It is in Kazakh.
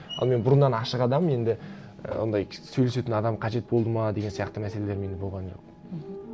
ал мен бұрыннан ашық адаммын енді і ондай сөйлесетін адам қажет болды ма деген сияқты мәселелер менде болған жоқ мхм